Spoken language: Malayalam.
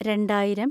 രണ്ടായിരം